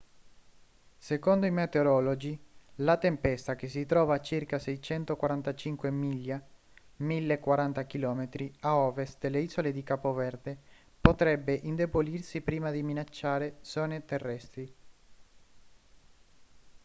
secondo i meteorologi la tempesta che si trova a circa 645 miglia 1.040 km a ovest delle isole di capo verde potrebbe indebolirsi prima di minacciare zone terrestri